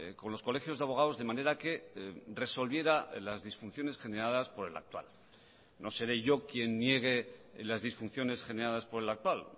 con los colegios de abogados de manera que resolviera las disfunciones generadas por el actual no seré yo quien niegue las disfunciones generadas por el actual